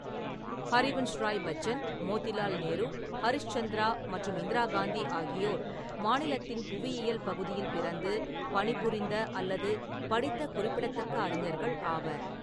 ஹரிவன்ஷ் ராய் பச்சன், மோதிலால் நேரு, ஹரிஷ் சந்திரா மற்றும் இந்திரா காந்தி ஆகியோர் மாநிலத்தின் புவியியல் பகுதியில் பிறந்து, பணிபுரிந்த அல்லது படித்த குறிப்பிடத்தக்க அறிஞர்கள் ஆவர்.